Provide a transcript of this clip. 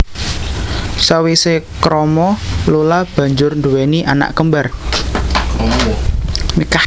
Sawise krama Lula banjur nduwéni anak kembar